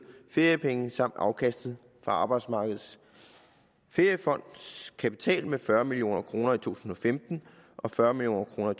feriepenge samt afkastet fra arbejdsmarkedets feriefonds kapital med fyrre million kroner i to tusind og femten og fyrre million kroner